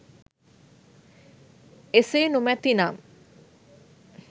එසේ නොමැතිනම්